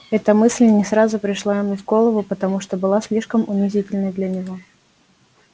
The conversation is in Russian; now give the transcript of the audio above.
эта мысль не сразу пришла ему в голову потому что была слишком унизительной для него